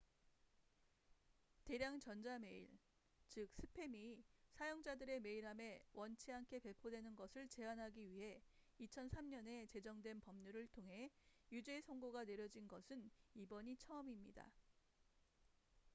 대량 전자 메일 즉 스팸이 사용자들의 메일함에 원치 않게 배포되는 것을 제한하기 위해 2003년에 제정된 법률을 통해 유죄 선고가 내려진 것은 이번이 처음입니다